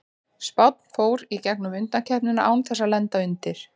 Spánn fór í gegnum undankeppnina án þess að lenda undir.